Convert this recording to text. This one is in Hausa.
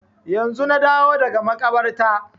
Yanzu na dawo daga makabarta